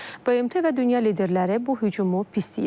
BMT və dünya liderləri bu hücumu pisləyir.